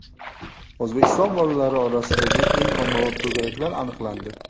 O‘zbekiston bolalari orasidagi eng ommabop to‘garaklar aniqlandi.